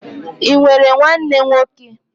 I nwere nwanne nwoke?